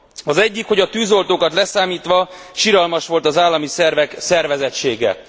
Az egyik, hogy a tűzoltókat leszámítva, siralmas volt az állami szervek szervezettsége.